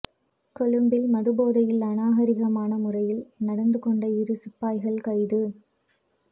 கொழும்பில் மதுபோதையில் அநாகரிகமான முறையில் நடந்து கொண்ட இரு சிப்பாய்கள் கைது